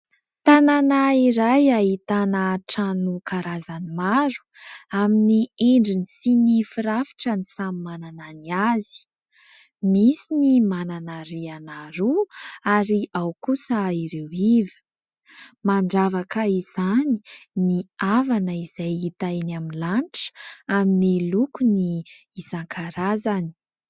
Tanàna iray ahitana trano karazany maro, amin'ny endriny sy ny firafitrany samy manana ny azy : misy ny manana rihana roa ary ao kosa ireo iva. Mandravaka izany ny avana izay hita eny amin'ny lanitra, amin'ny lokony isan-karazany.